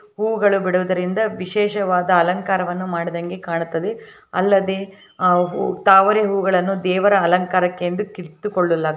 ಹೂವುಗಳು ಬಿಡುವುದರಿಂದ ವಿಶೇಷವಾದ ಅಲಂಕಾರವನ್ನು ಮಾಡದಂಗೆ ಕಾಣ್ತದೆ ಅಲ್ಲದೆ ಅಹ್ ತಾವರೆ ಹೂವಗಳನ್ನು ದೆವರ ಅಲಂಕಾರಕೆಂದು ಕಿತ್ತುಕೊಳ್ಳ --